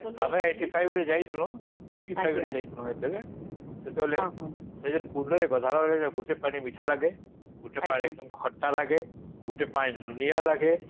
ଆମେ eighty-five ରେ ଯାଇଥିଲୁ eighty-five ରେ ଯାଇଥିଲୁ ସେଠିକି ସେତେବେଳ ସେଠି କୁଣ୍ଡ ରେ ଗଢେଇଲ ବେଳେ ଗୋଟେ ପାଣି ମିଠା ଲାଗେ ଗୋଟେ ପାଣି ଏକଦମ ଖଟା ଲାଗେ ଗୋଟେ ପାଣି ଲୁଣିଆ ଲାଗେ